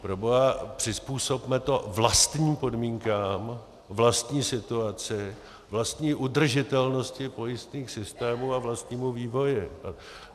Proboha, přizpůsobme to vlastním podmínkám, vlastní situaci, vlastní udržitelnosti pojistných systémů a vlastnímu vývoji.